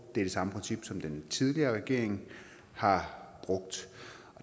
er det samme princip som den tidligere regering har brugt